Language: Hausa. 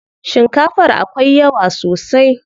Shikafar akwai yawa sosai.